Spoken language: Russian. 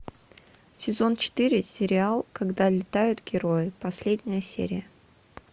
сезон четыре сериал когда летают герои последняя серия